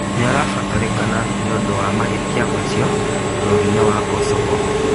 Nĩarabatarĩkana nĩũndũ wa mahĩtia macio bũrũri-inĩ wa Kosovo